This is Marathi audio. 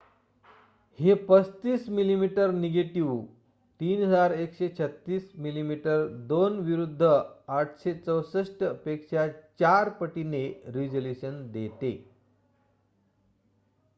हे 35 मिमी निगेटिव्ह 3136 मिमी2 विरुद्ध 864 पेक्षा 4 पटीने रेझोल्युशन देते